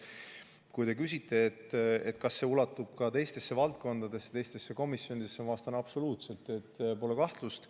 Kui te küsite, kas see ulatub ka teistesse valdkondadesse ja teistesse komisjonidesse, siis ma vastan, et absoluutselt, pole kahtlust.